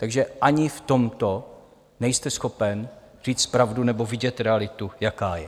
Takže ani v tomto nejste schopen říci pravdu nebo vidět realitu, jaká je.